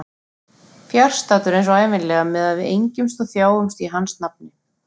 Fjarstaddur eins og ævinlega meðan við engjumst og þjáumst í hans nafni.